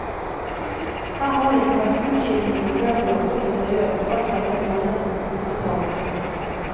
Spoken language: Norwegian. Her har det ikke vært utskifting av møbler og interiør alt etter månedens motefarve.